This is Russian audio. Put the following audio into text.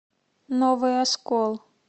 новый оскол